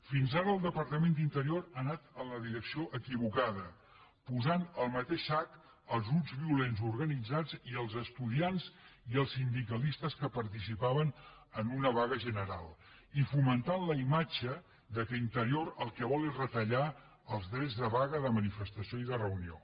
fins ara el departament d’interior ha anat en la direcció equivocada posant al mateix sac els grups violents organitzats i els estudiants i els sindicalistes que participaven en una vaga general i fomentant la imatge que interior el que vol és retallar els drets de vaga de manifestació i de reunió